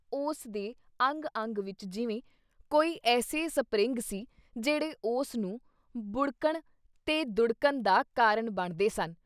ਉਸ ਦੇ ਅੰਗ-ਅੰਗ ਵਿੱਚ ਜਿਵੇਂ “ਕੋਈ ਐਸੇ ਸਪਰਿੰਗ ਸੀ, ਜਿਹੜੇ ਉਸ ਨੂੰ ਬੁੜ੍ਹਕਣ ’ਤੇ ਦੁੜ੍ਹਕਣ ਦਾ ਕਾਰਨ ਬਣਦੇ ਸਨ।